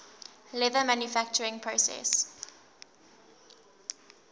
leather manufacturing process